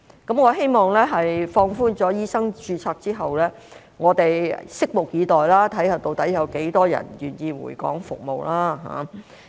在放寬醫生註冊之後，我們拭目以待，看看究竟有多少人願意回港服務。